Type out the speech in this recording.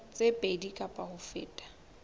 tse pedi kapa ho feta